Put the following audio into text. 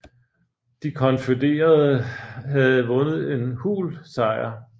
De konfødererede havde vundet en hul sejr